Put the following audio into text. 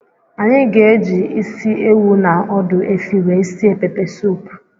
Anyị ga-eji ịsị ewụ na ọdụ efi wee sie pepe soupu.